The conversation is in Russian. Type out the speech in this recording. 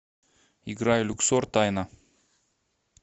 играй люксор тайна